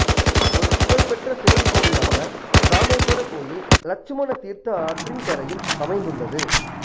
ஒரு புகழ்பெற்ற சிவன் கோவிலான இராமேசுவர கோயில் இலட்சுமண தீர்த்த ஆற்றின் கரையில் அமைந்துள்ளது